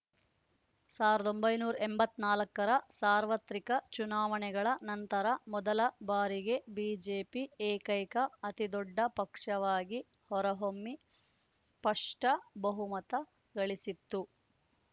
ಸಾವಿರದ ಒಂಬೈನೂರ ಎಂಬತ್ತ್ ನಾಲ್ಕರ ಸಾರ್ವತ್ರಿಕ ಚುನಾವಣೆಗಳ ನಂತರ ಮೊದಲ ಬಾರಿಗೆ ಬಿಜೆಪಿ ಏಕೈಕ ಅತಿದೊಡ್ಡ ಪಕ್ಷವಾಗಿ ಹೊರಹೊಮ್ಮಿ ಸ್ಪಷ್ಟ ಬಹುಮತ ಗಳಿಸಿತ್ತು